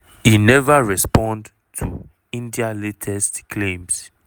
e neva respond to india latest claims.